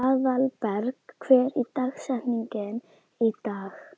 Aðalberg, hver er dagsetningin í dag?